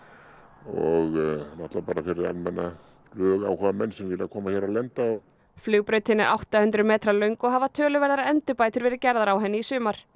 og náttúrulega bara fyrir almenna flugáhugamenn sem vilja koma hér og lenda flugbrautin er átta hundruð metra löng og hafa töluverðar endurbætur verið gerðar á henni í sumar